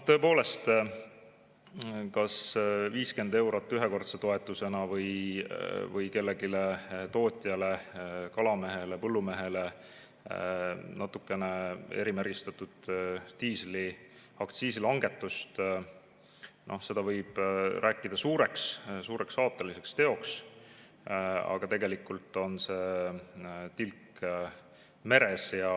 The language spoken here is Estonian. Tõepoolest, 50-eurose ühekordse toetuse või erimärgistatud diisliaktsiisi vähese langetuse tootjale, kalamehele või põllumehele võib rääkida suureks aateliseks teoks, aga tegelikult on see tilk meres.